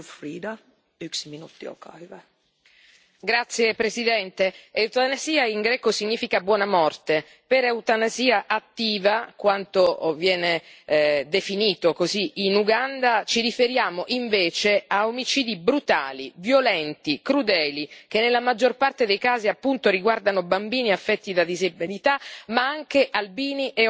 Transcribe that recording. Signora Presidente, onorevoli colleghi, eutanasia in greco significa buona morte. Per eutanasia attiva, quanto viene definito così in Uganda, ci riferiamo invece a omicidi brutali, violenti, crudeli, che nella maggior parte dei casi appunto riguardano bambini affetti da disabilità, ma anche albini e omosessuali.